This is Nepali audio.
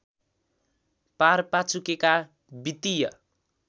पारपाचुकेका वित्तीय